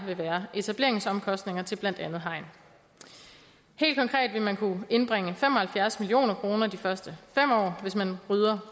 vil være etableringsomkostninger til blandt andet hegn helt konkret vil man kunne indbringe fem og halvfjerds million kroner de første fem år hvis man rydder